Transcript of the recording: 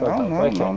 Não, não, não.